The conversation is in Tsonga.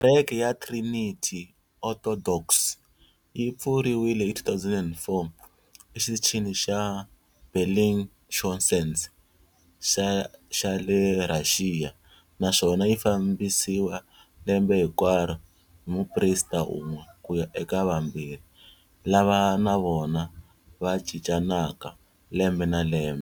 Kereke ya Trinity Orthodox yi pfuriwile hi 2004 eXitichini xa Bellingshausen xa le Rhaxiya naswona yi fambisiwa lembe hinkwaro hi muprista un'we ku ya eka vambirhi, lava na vona va cincanaka lembe na lembe.